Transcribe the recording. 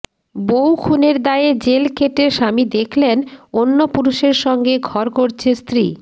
বউ খুনের দায়ে জেল খেটে স্বামী দেখলেন অন্য পুরুষের সঙ্গে ঘর করছে স্ত্রী